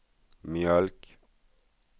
mjölk